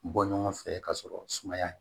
Bɔ ɲɔgɔn fɛ ka sɔrɔ sumaya